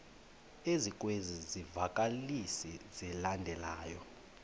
ezikwezi zivakalisi zilandelayo